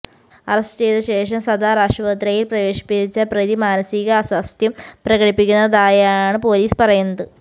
arrest ചെയ്ത ശേഷം സദാർ ആശുപത്രിയിൽ പ്രവേശിപ്പിച്ച പ്രതി മാനസിക അസ്വാസ്ഥ്യം പ്രകടിപ്പിക്കുന്നതായാണ് പൊലീസ് പറയുന്നത്